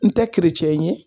N tɛ keretiyɛn ye